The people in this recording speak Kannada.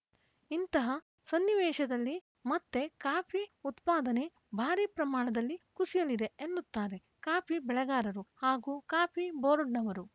ಇಂತಹ ಸನ್ನಿವೇಶದಲ್ಲಿ ಮತ್ತೆ ಕಾಫಿ ಉತ್ಪಾದನೆ ಭಾರೀ ಪ್ರಮಾಣದಲ್ಲಿ ಕುಸಿಯಲಿದೆ ಎನ್ನುತ್ತಾರೆ ಕಾಫಿ ಬೆಳೆಗಾರರು ಹಾಗೂ ಕಾಫಿ ಬೋರ್ಡ್‌ನವರು